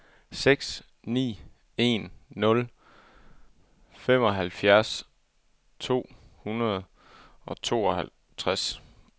seks ni en nul femoghalvfems to hundrede og tooghalvtreds